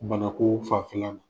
Bana koo fanfɛla ma.